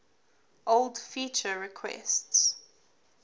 old feature requests